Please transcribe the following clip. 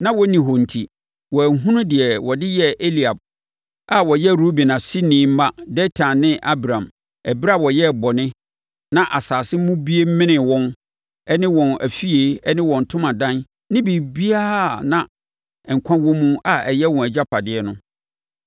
Na wɔnni hɔ enti, wɔanhunu deɛ wɔde yɛɛ Eliab a ɔyɛ Ruben aseni mma Datan ne Abiram ɛberɛ a wɔyɛɛ bɔne na asase mu bue menee wɔn ne wɔn afie ne wɔn ntomadan ne biribiara a na nkwa wɔ mu a ɛyɛ wɔn agyapadeɛ no.